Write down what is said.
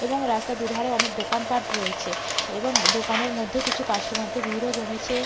''এবং রাস্তার দু''''ধারে অনেক দোকানপাট রয়েছে এবং দোকানের মধ্যে কিছু কাস্টমার দের ভিড়ও জমেছে।''